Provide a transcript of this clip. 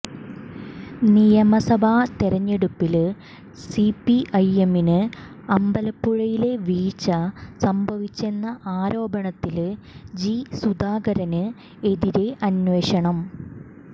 നിയമസഭാ തെരഞ്ഞടുപ്പില് സിപിഐഎമ്മിന് അമ്പലപ്പുഴയിലെ വീഴ്ച സംഭവിച്ചെന്ന ആരോപണത്തില് ജി സുധാകരന് എതിരെ അന്വേഷണം